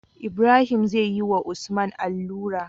Ibrahim zeyi wa usman allura